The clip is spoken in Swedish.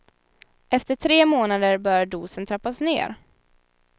Efter tre månader bör dosen trappas ner.